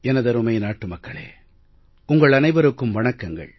எனதருமை நாட்டு மக்களே உங்கள் அனைவருக்கும் வணக்கங்கள்